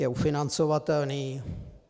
Je ufinancovatelný?